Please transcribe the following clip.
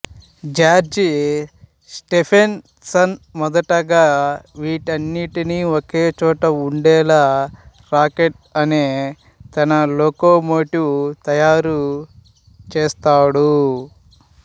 George Stephenson మొదటగా వీటన్నింటినీ ఒకేచోటు వుండేలా రాకెట్ అనే తన లోకోమోటివ్ తయారు చేసాడు